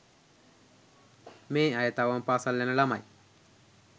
මේ අය තවම පාසල් යන ළමයි.